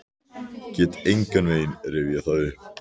Get engan veginn rifjað það upp.